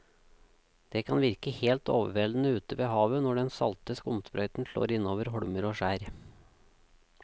Det kan virke helt overveldende ute ved havet når den salte skumsprøyten slår innover holmer og skjær.